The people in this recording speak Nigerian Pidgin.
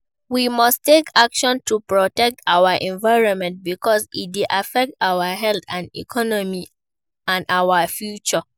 We must take action to protect our environment because e dey affect our health, economy and our future.